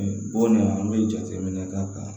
Bɔ ni an bɛ jateminɛ k'a kan